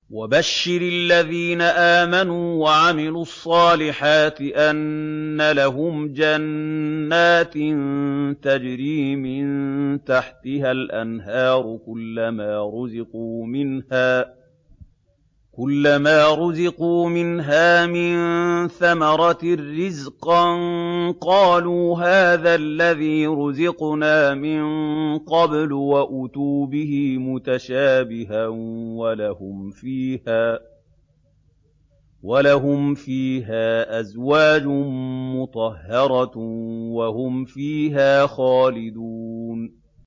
وَبَشِّرِ الَّذِينَ آمَنُوا وَعَمِلُوا الصَّالِحَاتِ أَنَّ لَهُمْ جَنَّاتٍ تَجْرِي مِن تَحْتِهَا الْأَنْهَارُ ۖ كُلَّمَا رُزِقُوا مِنْهَا مِن ثَمَرَةٍ رِّزْقًا ۙ قَالُوا هَٰذَا الَّذِي رُزِقْنَا مِن قَبْلُ ۖ وَأُتُوا بِهِ مُتَشَابِهًا ۖ وَلَهُمْ فِيهَا أَزْوَاجٌ مُّطَهَّرَةٌ ۖ وَهُمْ فِيهَا خَالِدُونَ